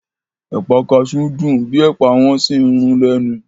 Ẹ̀pà kaṣú dùn bíi Ẹ̀pà wọ́n sì ń rún lẹ́nu